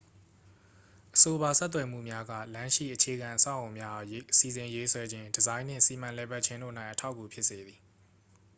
အဆိုပါဆက်သွယ်မှုများက လမ်းရှိ အခြေခံအဆောက်အအုံများအား စီစဉ်ရေးဆွဲခြင်း ဒီဇိုင်းနှင့် စီမံလည်ပတ်ခြင်းတို့၌ အထောက်အကူဖြစ်စေသည်